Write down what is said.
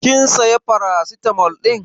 Kin saya paracetamol din?